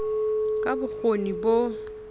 ka b o kgoni bo